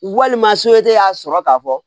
Walima y'a sɔrɔ k'a fɔ